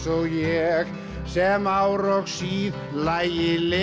ég sem ár og síð lægi leti